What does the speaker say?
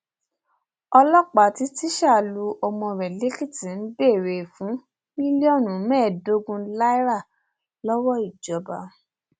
ọlọpàá tí tísá lu ọmọ rẹ lèkìtì ń béèrè fún mílíọnù mẹẹẹdógún náírà lọwọ ìjọba